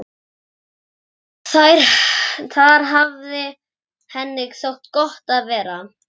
Þar hafði henni þótt gott að vera.